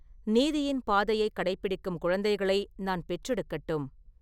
நீதியின் பாதையைக் கடைப்பிடிக்கும் குழந்தைகளை நான் பெற்றெடுக்கட்டும்!